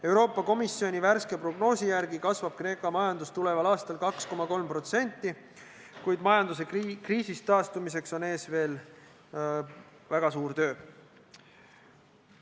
Euroopa Komisjoni värske prognoosi järgi kasvab Kreeka majandus tuleval aastal 2,3%, kuid majanduse kriisist taastumiseks on ees veel väga suur töö.